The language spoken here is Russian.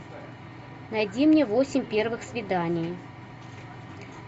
найди мне восемь первых свиданий